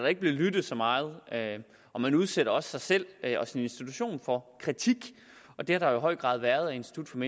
ikke bliver lyttet så meget og man udsætter også sig selv og sin institution for kritik og det har der i høj grad været af institut